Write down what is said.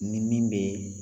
Ni min bee